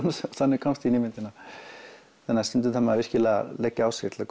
þannig komst ég inn í myndina þannig að stundum þarf maður virkilega að leggja á sig til að